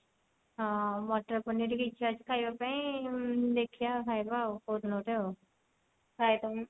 ହଁ ମଟର ପନୀର ଟିକେ ଇଛା ଅଛି ଖାଇବା ପାଇଁ ଉଁ ଦେଖିବା ଖାଇଦବା ଆଉ କଉଦିନ ଗୋଟେ ଆଉ